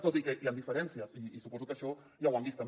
tot i que hi han diferències i suposo que això ja ho han vist també